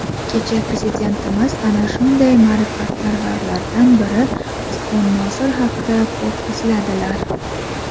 kecha Prezidentimiz ana shunday ma’rifatparvarlardan biri Usmon Nosir haqida ko‘p esladilar.